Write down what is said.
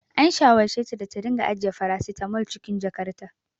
An shawarceta da ta dinga ajiye farasitamol a cikin jakarta.